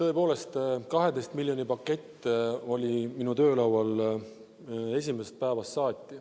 Tõepoolest, 12 miljoni pakett oli minu töölaual esimesest päevast saati.